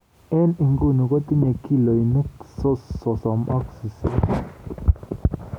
eng inguno kotinye kilonik sosom ak sisit